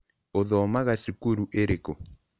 Ũthoomaga cukuru ĩrĩkũ?